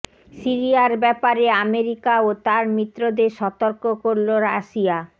সিরিয়ার ব্যাপারে আমেরিকা ও তার মিত্রদের সতর্ক করল রাশিয়া